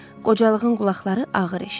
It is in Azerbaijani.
Qocalığın qulaqları ağır eşidir.